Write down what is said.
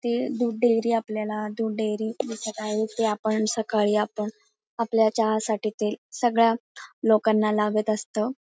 ति दूध डेअरी आपल्याला दूध डेअरी दिसत आहे ते आपण सकाळी आपण आपल्या चहासाठी ते सगळ्या लोकाना लागत असत.